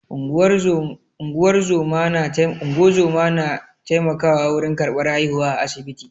Unguwar zoma na taimakawa wurin karɓar haihuwa a asibiti.